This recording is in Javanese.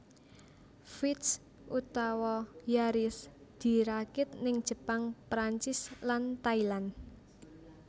Vitz utawa Yaris dirakit ning Jepang Prancis lan Thailand